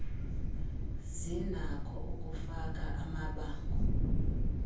zinakho ukufaka amabango